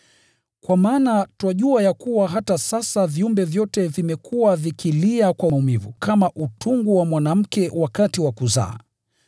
Kwa maana twajua ya kuwa hata sasa viumbe vyote vimekuwa vikilia kwa maumivu kama utungu wa mwanamke wakati wa kuzaa.